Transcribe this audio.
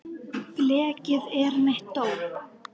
Blekið er mitt dóp.